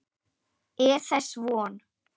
Er þess von?